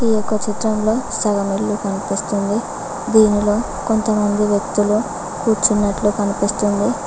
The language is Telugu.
ఈ యొక్క చిత్రంలో సగం ఇల్లు కనిపిస్తుంది దీనిలో కొంతమంది వ్యక్తులు కూర్చునట్లు కనిపిస్తుంది.